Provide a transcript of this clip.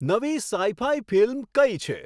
નવી sci fi film કઈ છે